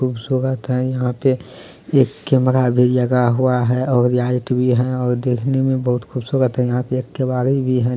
खुबसुरत है यहां पे एक कैमरा भी लगा हुआ है और लाइट भी है और देखने मे बहुत खूबसूरत हैं यहां पे एक केवारी भी है।